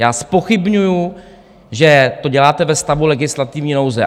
Já zpochybňuji, že to děláte ve stavu legislativní nouze.